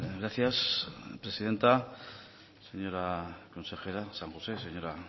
gracias presidenta señora consejera san josé señora